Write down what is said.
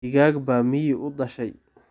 Digaag baa miyi u dhashay.